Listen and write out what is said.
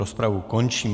Rozpravu končím.